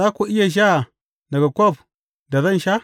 Za ku iya sha daga kwaf da zan sha?